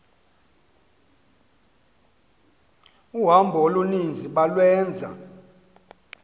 uhambo oluninzi balwenza